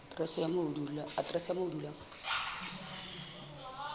aterese ya moo o dulang